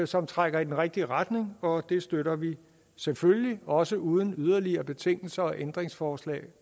som trækker i den rigtige retning og det støtter vi selvfølgelig også uden yderligere betingelser og ændringsforslag